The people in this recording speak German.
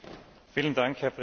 Herr Präsident!